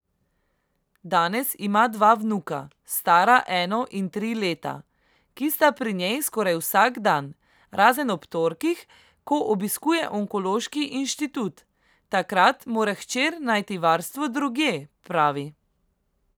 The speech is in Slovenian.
Danes ima dva vnuka, stara eno in tri leta, ki sta pri njej skoraj vsak dan, razen ob torkih, ko obiskuje Onkološki inštitut, takrat mora hčer najti varstvo drugje, pravi.